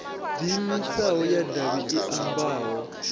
diimisaho ya tshavhi i ambaho